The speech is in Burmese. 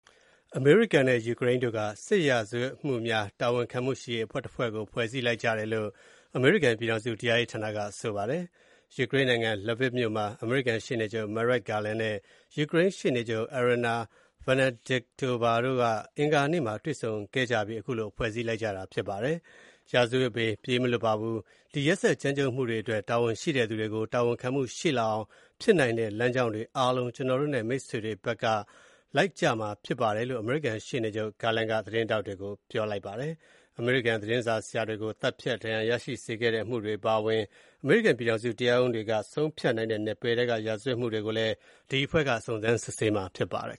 အမေရိကန် နဲ့ ယူကရိန်း တို့ က စစ်ရာဇဝတ်မှုများ တာဝန်ခံမှုရှိရေး အဖွဲ့တဖွဲ့ ကို ဖွဲ့စည်းလိုက်ကြတယ်လို့ အမေရိကန် ပြည်ထောင်စု တရားရေး ဌာန က ပြောပါတယ်။ ယူကရိန်း နိုင်ငံ Lviv မြို့ မှာ အမေရိကန် ရှေ့နေချုပ် Merrick Garland နဲ့ ယူးကရိန်း ရှေ့နေချုပ် Iryna Venediktova တို့ အင်္ဂါနေ့ မှာ တွေ့ဆုံခဲ့ကြပြီး ခုလို ဖွဲ့စည်းလိုက်ကြတာ ဖြစ်ပါတယ်။ ပုန်းခိုစရာ နေရာမရှိပါဘူး။ ဒီ ရက်စက်ကြမ်းကြုတ်မှုတွေအတွက် တာဝန်ရှိတဲ့သူတွေ ကို တာဝန်ခံမှု ရှိလာအောင် ဖြစ်နိုင်တဲ့ လမ်းကြောင်းတွေ အားလုံး ကို ကျနော်တို့ နဲ့ မိတ်ဘက်တွေ က လိုက်ကြမှာ ဖြစ်ပါတယ်လို့ အမေရိကန် ရှေ့နေချုပ် Merrick Garland က သတင်းထောက်တွေ ကို ပြောပါတယ်။ အမေရိကန် သတင်းစာဆရာတွေ ကို သတ်ဖြတ်၊ ဒဏ်ရာရရှိစေခဲ့တဲ့ အမှုတွေ အပါအဝင်၊ အမေရိကန် ပြည်ထောင်စု တရားရုံးတွေ က ဆုံးဖြတ်နိုင်တဲ့ နယ်ပယ်ထဲ က စစ်ရာဇဝတ်မှုတွေကိုလည်း ဒီ အဖွဲ့ က စုံစမ်းစစ်ဆေးမှာ ဖြစ်ပါတယ်